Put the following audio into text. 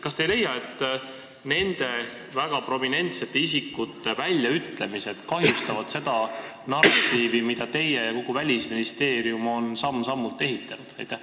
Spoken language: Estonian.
Kas te ei leia, et nende väga prominentsete isikute väljaütlemised kahjustavad seda narratiivi, mida teie ja kogu Välisministeerium olete samm-sammult ehitanud?